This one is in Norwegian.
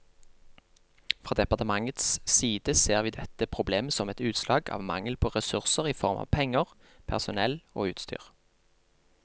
Fra departementets side ser vi dette problemet som et utslag av mangel på ressurser i form av penger, personell og utstyr.